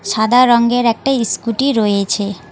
সাদা রঙের একটা স্কুটি রয়েছে।